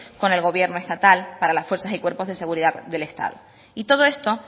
con el gobierno estatal para las fuerzas y cuerpos de seguridad del estado y todo esto